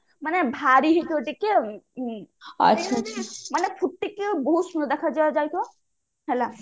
ମାନେ ଭାରି ହେଇଥିବ ଟିକେ ଆଉ ମାନେ ଟିକେ ବହୁତ ସୁନ୍ଦର ଦେଖା ଯାଉଥିବ